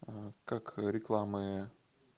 как рекламы